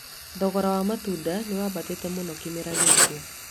Thogora wa matunda nĩ wambatĩte mũno kĩmera gĩkĩ